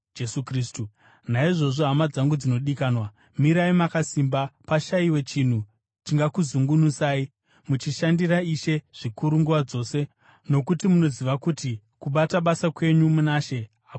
Naizvozvo, hama dzangu dzinodikanwa, mirai makasimba. Pashayiwe chinhu chingakuzungunusai. Muchishandira Ishe zvikuru nguva dzose, nokuti munoziva kuti kubata basa kwenyu muna She hakungavi pasina.